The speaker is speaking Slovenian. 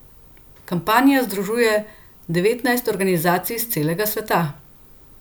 Kampanja združuje devetnajst organizacij s celega sveta.